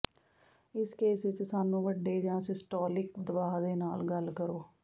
ਇਸ ਕੇਸ ਵਿਚ ਸਾਨੂੰ ਵੱਡੇ ਜ ਸਿਸਟੋਲਿਕ ਦਬਾਅ ਦੇ ਨਾਲ ਗੱਲ ਕਰੋ